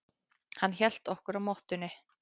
Hann hélt okkur á mottunni.